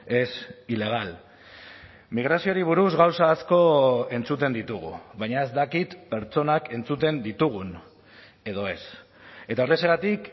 es ilegal migrazioari buruz gauza asko entzuten ditugu baina ez dakit pertsonak entzuten ditugun edo ez eta horrexegatik